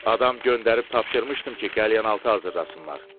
Adam göndərib tapşırmışdım ki, qəlyanaltı hazırlasınlar.